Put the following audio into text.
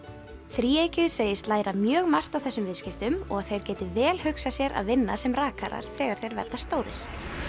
þríeykið segist læra mjög margt á þessum viðskiptum og að þeir geti vel hugsað sér að vinna sem rakarar þegar þeir verða stórir